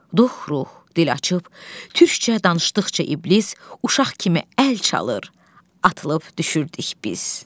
Dux ruh dil açıb, türkcə danışdıqca iblis uşaq kimi əl çalır, atılıb düşürdük biz.